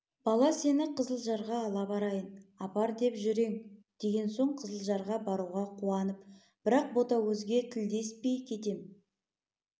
бала сені қызылжарға ала барайын апар деп жүр ең деген соң қызылжарға баруға қуанып бірақ ботагөзге тілдеспей кетем